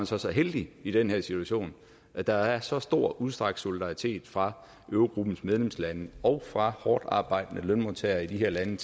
så så heldig i den her situation at der er så stor udstrakt solidaritet fra eurogruppens medlemslande og fra hårdtarbejdende lønmodtagere i de her lande